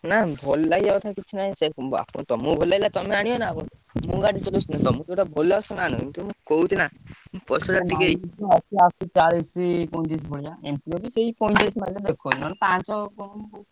ନାଁ ଭଲ ଲାଗିବା ଠେଇଁ କିଛି ନାହିଁ ତମକୁ ଭଲ ଲାଗୁଇଲା ତମେ ଆଣିବ ନାଁ ମୁଁ କଣ ଗାଡି ଚଲାଉଛି ତମକୁ ଜୌତ ଭଲ ଲାଗିବ ତମେ ସେଇଟା ଆଣିବ Pulsar ଟିକେ,